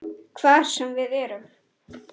Hvar sem við erum.